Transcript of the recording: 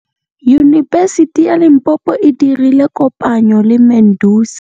Yunibesiti ya Limpopo e dirile kopanyô le MEDUNSA.